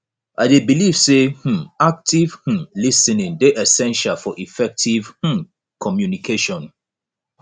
i dey believe say um active um lis ten ing dey essential for effective um communication